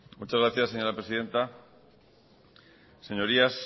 muchas gracias señora presidenta señorías